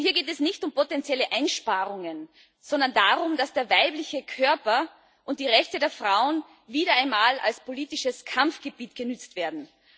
Denn hier geht es nicht um potenzielle Einsparungen, sondern darum, dass der weibliche Körper und die Rechte der Frauen wieder einmal als politisches Kampfgebiet genutzt werden.